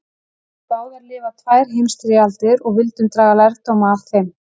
Við höfðum báðir lifað tvær heimstyrjaldir og vildum draga lærdóma af þeim.